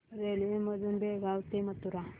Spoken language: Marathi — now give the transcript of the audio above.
रेल्वे मधून बेळगाव ते मथुरा